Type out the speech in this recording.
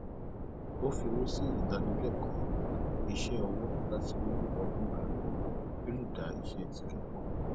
ó fi owó sí ìdánilẹkọọ iṣẹ ọwọ láti mú ọgbọn rẹ pọ kí ó lè dá iṣẹ tirẹ pọ